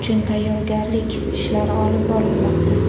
uchun tayyorgarlik ishlari olib borilmoqda.